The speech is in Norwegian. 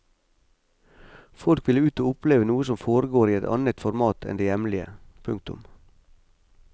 Folk vil ut og oppleve noe som foregår i et annet format enn det hjemlige. punktum